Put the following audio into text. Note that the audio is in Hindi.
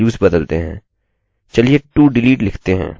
चलिए todelete लिखते हैं